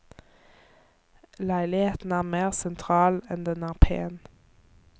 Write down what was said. Leiligheten er mer sentral enn den er pen.